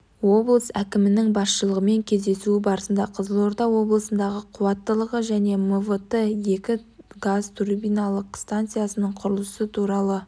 облыс әкімінің басшылығымен кездесуі барысында қызылорда облысындағы қуаттылығы және мвт екі газ турбиналық станциясының құрылысы туралы